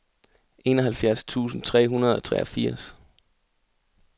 enoghalvfjerds tusind tre hundrede og treogfirs